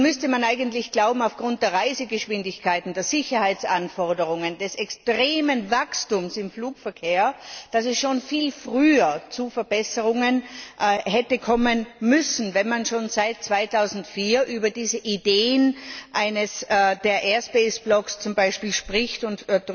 Nun müsste man eigentlich aufgrund der Reisegeschwindigkeiten, der Sicherheitsanforderungen, des extremen Wachstums im Flugverkehr glauben, dass es schon viel früher zu Verbesserungen hätte kommen müssen, wenn man schon seit 2004 über die Idee der Luftraumblöcke spricht und